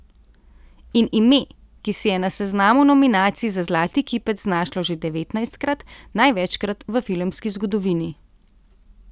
In ime, ki se je na seznamu nominacij za zlati kipec znašlo že devetnajstkrat, največkrat v filmski zgodovini.